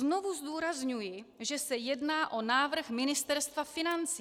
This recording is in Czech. Znovu zdůrazňuji, že se jedná o návrh Ministerstva financí.